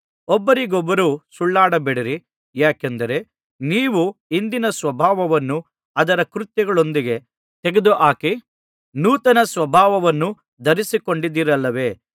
ಒಬ್ಬರಿಗೊಬ್ಬರು ಸುಳ್ಳಾಡಬೇಡಿರಿ ಯಾಕೆಂದರೆ ನೀವು ಹಿಂದಿನಸ್ವಭಾವವನ್ನು ಅದರ ಕೃತ್ಯಗಳೊಂದಿಗೆ ತೆಗೆದುಹಾಕಿ ನೂತನಸ್ವಭಾವವನ್ನು ಧರಿಸಿಕೊಂಡಿದ್ದೀರಲ್ಲವೇ